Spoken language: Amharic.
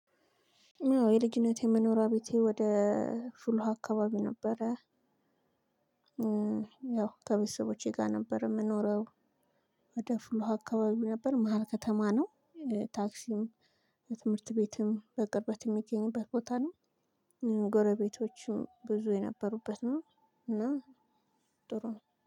የልጅነት የመኖሪያ ቤቴ ወደ ፍል ውሃ አካባቢ ነበረ። የው ከቤተሰቦቸ ጋር ነበር የምኖረው፤ ወደ ፍል ውሃ አካባቢ ነበር። መሃል ከተማ ነው። ታክሲም፣ ትምህርትቤትም በቅርበት የሚገኝበት ቦታ ነው። ጎረቤቶችም ብዙ የነበሩበት ነው። እና ጥሩ ነው።